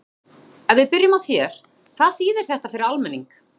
Þorbjörn, ef við byrjum á þér, hvað þýðir þetta fyrir almenning?